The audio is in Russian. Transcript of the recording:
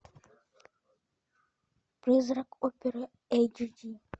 призрак оперы эйч ди